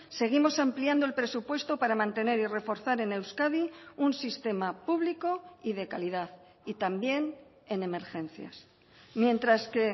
seguimos ampliando el presupuesto para mantener y reforzar en euskadi un sistema público y de calidad y también en emergencias mientras que